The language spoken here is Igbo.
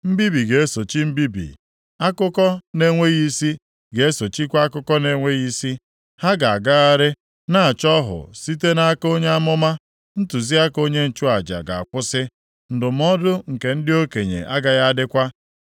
Mbibi ga-esochi mbibi, akụkọ na-enweghị isi ga-esochikwa akụkọ na-enweghị isi. Ha ga-agagharị na-achọ ọhụ site nʼaka onye amụma, ntụziaka onye nchụaja ga-akwụsị, ndụmọdụ nke ndị okenye agaghị adịkwa.